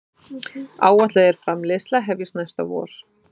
Áætlað er framleiðsla hefjist næsta vor